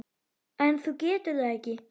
En þú getur það ekki.